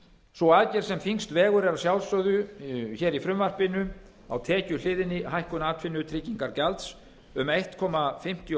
sú aðgerð sem þyngst vegur er að sjálfsögðu hér í frumvarpinu á tekjuhliðinni hækkun atvinnutryggingagjalds um einn komma fimmtíu og